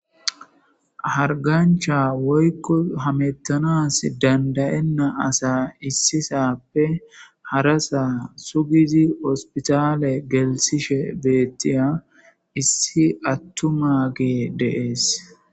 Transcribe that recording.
hargancha woykko hamettanas dandayenna asa issisappe harasa sugizi ospitale gelsishe beettiya issi attuma ge deees